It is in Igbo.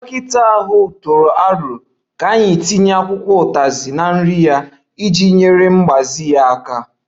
Dọkịta ahụ tụrụ aro ka anyị tinye akwụkwọ utazi na nri ya iji nyere mgbaze ya aka